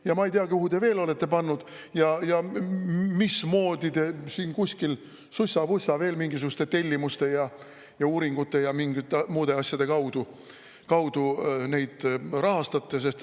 Ja ma ei tea, kuhu te veel olete pannud ja mismoodi te kuskil sussa-vussa veel mingisuguste tellimuste, uuringute ja muude asjade kaudu neid rahastate.